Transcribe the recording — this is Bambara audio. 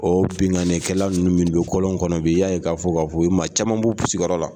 O binkanikɛlaw ninnu minnu bi don kɔlɔn kɔnɔ bi, i y'a ye k'a fɔ k'a fɔ bi i ye maa caman b'u sigiyɔrɔ la.